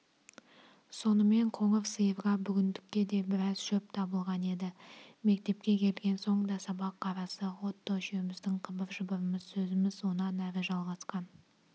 сонымен қоңыр сиырға бүгіндікке де біраз шөп табылған еді мектепке келген соң да сабақ арасы отто үшеуміздің қыбыр-жыбырымыз сөзіміз онан әрі жалғасқан